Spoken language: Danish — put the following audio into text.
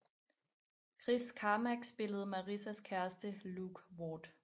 Chris Carmack spillede Marissas kæreste Luke Ward